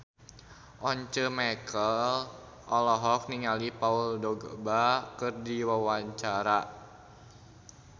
Once Mekel olohok ningali Paul Dogba keur diwawancara